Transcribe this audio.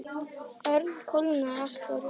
Örn kólnaði allur upp.